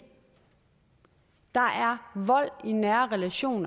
her